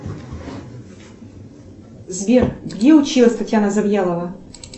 сбер где училась татьяна завьялова